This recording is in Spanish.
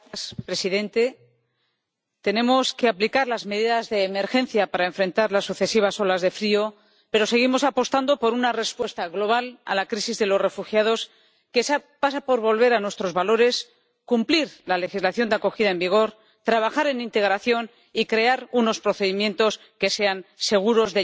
Señor presidente, tenemos que aplicar las medidas de emergencia para enfrentar las sucesivas olas de frío, pero seguimos apostando por una respuesta global a la crisis de los refugiados que pasa por volver a nuestros valores, cumplir la legislación de acogida en vigor, trabajar en integración y crear unos procedimientos de llegada y asilo que sean seguros.